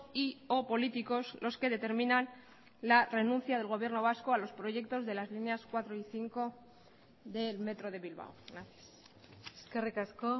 y o políticos los que determinan la renuncia del gobierno vasco a los proyectos de las líneas cuatro y cinco del metro de bilbao gracias eskerrik asko